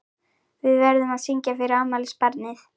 Við verðum að syngja fyrir afmælisbarnið.